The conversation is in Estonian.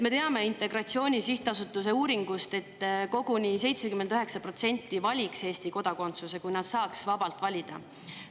Me teame Integratsiooni Sihtasutuse uuringust, et koguni 79% valiks Eesti kodakondsuse, kui nad saaks vabalt valida.